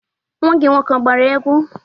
Nwa gi nwoke a gbara egwu?